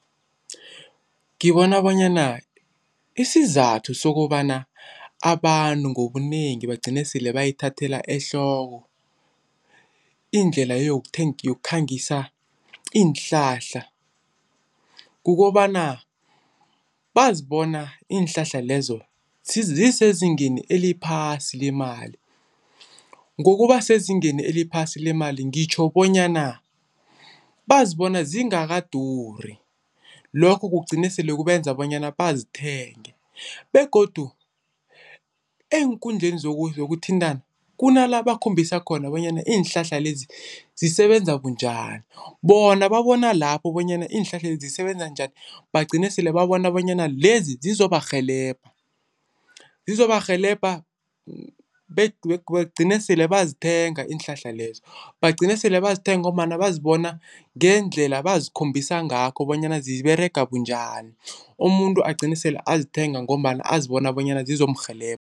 Ngibona bonyana isizathu sokobana abantu ngobunengi bagcine sele bayithathela ehloko indlela yokukhangisa iinhlahla. Kukobana bazibona iinhlahla lezo zisezingeni eliphasi lemali. Ngokuba sezingeni eliphasi lemali ngitjho bonyana bazibona zingakaduri. Lokho kugcine sele kubenza bonyana bazithenge begodu eenkundleni zokuthintana kunala bakhombisa khona bonyana iinhlahla lezi zisebenza bunjani. Bona babona lapho bonyana iinhlahla lezi zisebenza njani bagcine sele babona bonyana lezi zizobarhelebha. Zizobarhelebha bagcine sele bayazithenga iinhlahla lezo, bagcine sele bazithenga ngombana bazibona ngendlela bazikhombisa ngakho bonyana ziberega bunjani. Umuntu agcine sele azithenga ngombana azibona bonyana zizomurhelebha.